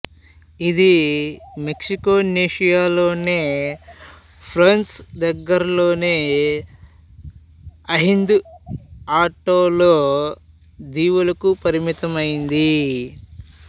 ఇది మైక్రోనేసియా లోని ఫోన్పై దగ్గర్లోని అహిన్ద్ అటోల్ దీవులకు పరిమితమైనది